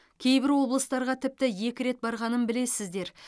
кейбір облыстарға тіпті екі рет барғанын білесіздер